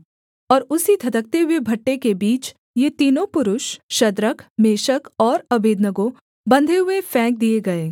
और उसी धधकते हुए भट्ठे के बीच ये तीनों पुरुष शद्रक मेशक और अबेदनगो बंधे हुए फेंक दिए गए